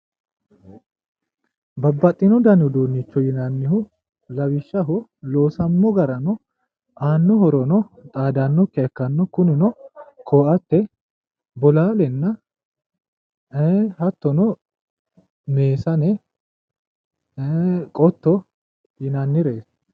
babbaxino dani uduunnicho yinannihu lawishshaho loosamino garano aano horono xaadannokkiha ikkanno kunino koatte bolaalenna ee hattono meesane qotto yinannireeti.